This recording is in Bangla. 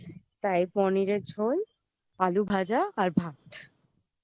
তাই পনিরের ঝোল আলু ভাজা আর ভাত I